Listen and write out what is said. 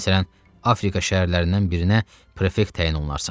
Məsələn, Afrika şəhərlərindən birinə prefekt təyin olunarsan.